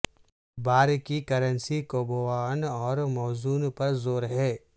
بار کی کرنسی کوبواوں اور موزوں پر زور ہے